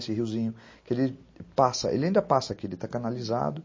Esse riozinho que ele passa, ele ainda passa aqui, ele está canalizado,